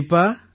கண்டிப்பா